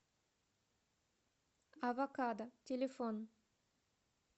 авокадо телефон